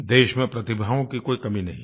देश में प्रतिभाओं की कोई कमी नहीं है